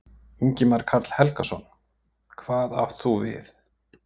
Ingimar Karl Helgason: Hvað átt þú við?